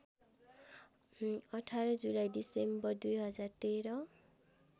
१८ जुलाई डिसेम्बर २०१३